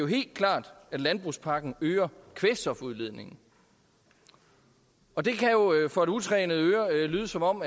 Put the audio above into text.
helt klart at landbrugspakken øger kvælstofudledningen og det kan jo for et utrænet øre lyde som om